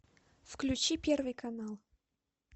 включи первый канал